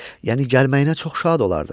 Yəni gəlməyinə çox şad olardım.